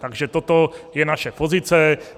Takže toto je naše pozice.